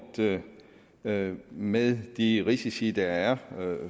med med de risici der er